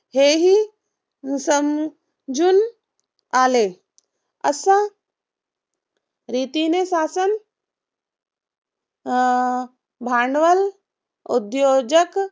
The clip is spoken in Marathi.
हेही समजून आले. अशा रीतीने शासन अं भांडवल उद्योजक